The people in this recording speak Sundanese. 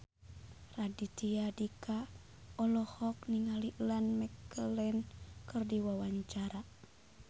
Raditya Dika olohok ningali Ian McKellen keur diwawancara